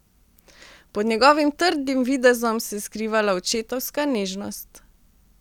Pod njegovim trdim videzom se je skrivala očetovska nežnost.